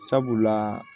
Sabula